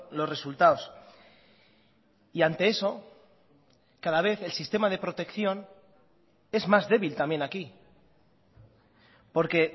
los resultados y ante eso cada vez el sistema de protección es más débil también aquí porque